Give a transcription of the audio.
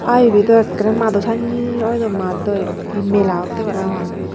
Ah ebe dow ekkere maado sanye oi dow maad dow eyot hee mela otte parapang.